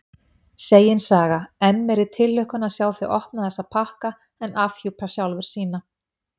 Segin saga: enn meiri tilhlökkun að sjá þau opna þessa pakka en afhjúpa sjálfur sína.